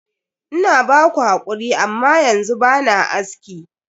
Ina ba ku hakuri, amma yanzu ba na aski.